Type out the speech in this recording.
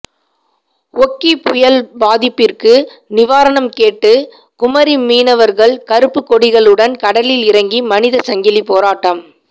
ஓகி புயல் பாதிப்பிற்கு நிவாரணம் கேட்டு குமரி மீனவர்கள் கருப்புக்கொடிகளுடன் கடலில் இறங்கி மனித சங்கிலி போராட்டம்